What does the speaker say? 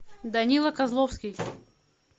данила козловский